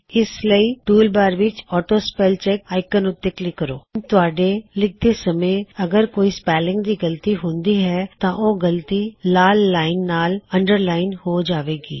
ਇਸ ਲਈ ਟੂਲਬਾਰ ਵਿੱਚ ਔਟੋ ਸਪੈੱਲ ਚੈੱਕ ਆਇਕੋਣ ਉੱਤੇ ਕਲਿੱਕ ਕਰੋ ਹੁਣ ਤੁਹਾਡੇ ਲਿਖਦੇ ਸਮੇ ਅੱਗਰ ਕੋਈ ਸਪੈੱਲਿੰਗ ਦੀ ਗਲਤੀ ਹੁੰਦੀ ਹੈ ਤਾਂ ਉਹ ਗਲਤੀ ਲਾਲ ਲਾਇਨ ਨਾਲ ਅੰਡਰਲਾਇਨ ਹੋ ਜਾਵੇਗੀ